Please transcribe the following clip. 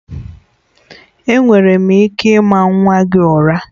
Enwere m ike ịma nwa gị ụra?